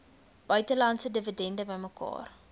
buitelandse dividende bymekaar